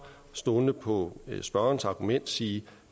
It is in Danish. stolende på spørgerens argument sige at